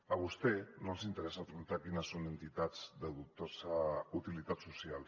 a vostès no els interessa preguntar quines són entitats de dubtosa utilitat social